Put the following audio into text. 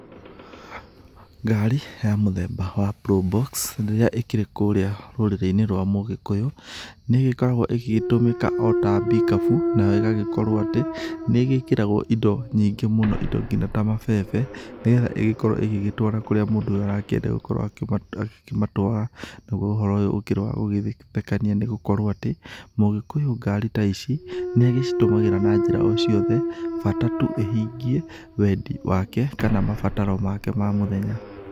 Ngari ya mũthemba wa probox rĩrĩa ikĩrĩ kũrĩa rũrũrĩi-inĩ rwa mũgĩkũyũ, nĩ ĩgĩkoragwo igĩgĩtũmĩka ota pickup . Nayo ĩgagĩkorwo atĩ nĩ ĩgĩkĩragwo indo nyingĩ mũno indo nginya ta mabebe, nĩ getha igĩkorwo igĩgĩtwara kũrĩa mũndũ ũyũ arakĩenda gũkorwa agĩkĩmatwara. Naguo ũhoro ũyũ ũkĩrĩ wa gũgĩthekania nĩ gũkorwo atĩ, mũgĩkũyũ ngari ta ici nĩ agĩcitũmagĩra na njĩra ociothe. Bata tu ĩhingie wendi wake kana mabataro make ma mũthenya.